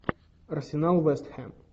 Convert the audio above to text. арсенал вест хэм